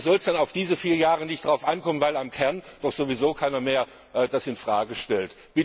Und da soll es dann auf diese vier Jahre nicht darauf ankommen, weil im Kern das doch sowieso keiner mehr in Frage stellt.